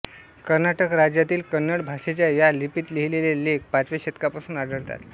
कर्नाटक राज्यातील कन्नड भाषेच्या या लिपीत लिहिलेले लेख पाचव्या शतकापासून आढळतात